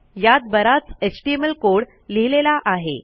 यात बराच HTML code लिहिलेला आहे